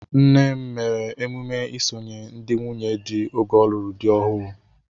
Nnem mere emume isonye ndị nwunye di oge ọlụrụ dị ọhụụ.